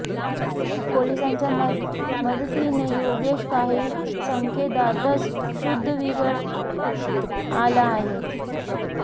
पोलिसांच्या या मदतीने योगेश काही सेकंदातच शुद्धीवर आला आहे